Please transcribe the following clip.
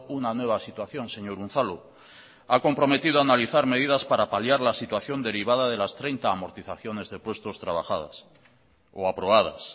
una nueva situación señor unzalu ha comprometido a analizar medidas para paliar la situación derivada de las treinta amortizaciones de puestos trabajadas o aprobadas